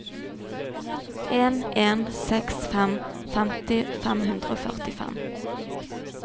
en en seks fem femti fem hundre og førtifem